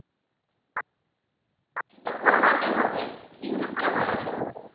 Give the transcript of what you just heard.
কিন্তু কমাতে হবে use টা কমাতে হবে।